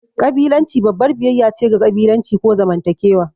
ƙabilanci babbar biyayya ce ga ƙabilanci ko zamantakewa.